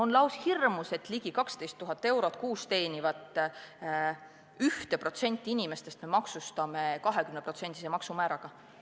On lausa hirmus, et me ligi 12 000 eurot kuus teenivat 1% elanikest me maksustame 20%-lise maksumääraga.